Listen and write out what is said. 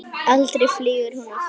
Aldrei flýgur hún aftur